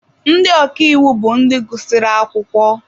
Ndị ọka iwu bụ ndị gụsịrị akwụkwọ.